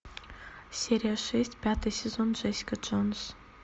серия шесть пятый сезон джессика джонс